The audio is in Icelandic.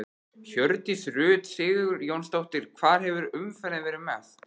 Hjördís Rut Sigurjónsdóttir: Hvar hefur umferðin verið mest?